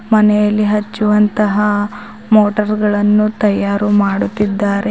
ಮನೆಯಲ್ಲಿ ಹಚ್ಚುವಂತಹ ಮೋಟರ್ ಗಳನ್ನು ತಯಾರು ಮಾಡುತ್ತಿದ್ದಾರೆ.